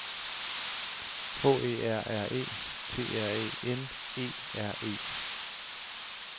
H E R R E T R Æ N E R E